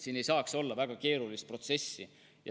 Siin ei tohiks olla väga keerulist protsessi.